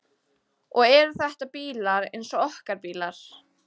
Og eru þetta bílar eins og okkar bílar?